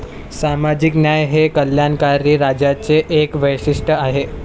सामाजिक न्याय हे कल्याणकारी राज्यांचे एक वैशिष्ट्य आहे.